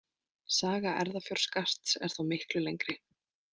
Saga erfðafjárskatts er þó miklu lengri.